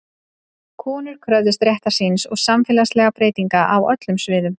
Konur kröfðust réttar síns og samfélagsbreytinga á öllum sviðum.